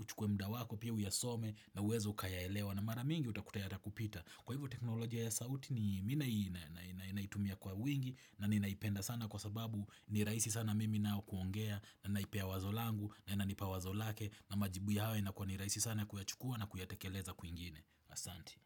uchukwe muda wako pia uyasome na uweze ukayaelewa na mara mingi utakuta yatakupita Kwa hivyo teknolojia ya sauti mi naitumia kwa wingi na ninaipenda sana kwa sababu ni rahisi sana mimi nao kuongea na naipie wazo langu na inanipa wazo lake na majibu yao inakuwa ni rahisi sana kuyachukua na kuyatekeleza kwinginea. Asanti.